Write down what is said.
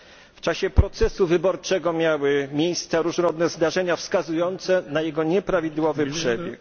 W czasie procesu wyborczego miały miejsce różnego rodzaju zdarzenia wskazujące na jego nieprawidłowy przebieg.